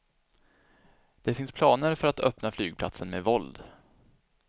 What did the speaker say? Det finns planer för att öppna flygplatsen med våld.